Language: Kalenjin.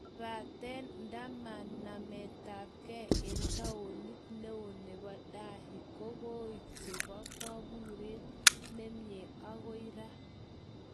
Kobaten andamanetabgei eng taonit neo nebo Delhi kokoek chebo koburet nemie agoi raa